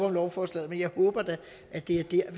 om lovforslaget men jeg håber da at det er